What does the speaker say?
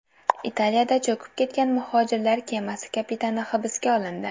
Italiyada cho‘kib ketgan muhojirlar kemasi kapitani hibsga olindi.